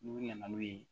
N'u nana n'u ye